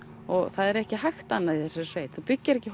það er ekki hægt annað í þessari sveit þú byggir ekki